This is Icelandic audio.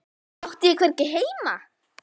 Átti ég hvergi heima?